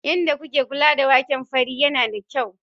Yadda kuke kula da waken fari yana da kyau.